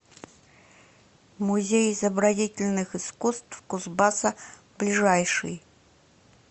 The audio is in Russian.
музей изобразительных искусств кузбасса ближайший